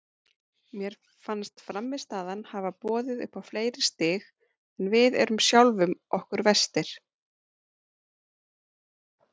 Mér fannst frammistaðan hafa boðið upp á fleiri stig en við erum sjálfum okkur verstir.